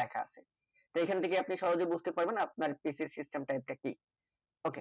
দেখা আছে এইখান থেকে আপনি সহজে বুজতে পারবেন আপনার PC এর system type টা কি ok